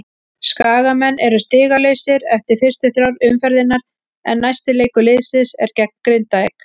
Skagamenn eru stigalausir eftir fyrstu þrjár umferðirnar en næsti leikur liðsins er gegn Grindavík.